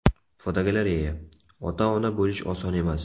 Fotogalereya: Ota-ona bo‘lish oson emas.